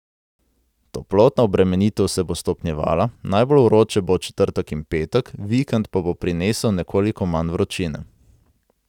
Toplotna obremenitev se bo stopnjevala, najbolj vroče bo v četrtek in petek, vikend pa bo prinesel nekoliko manj vročine.